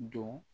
Don